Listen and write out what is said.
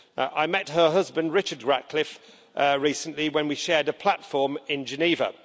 I met her husband, Richard Ratcliffe, recently when we shared a platform in Geneva.